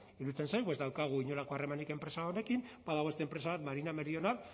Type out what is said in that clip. iruditzen zaigu ez daukagu inolako harremanik enpresa horrekin badago beste enpresa bat marina meridional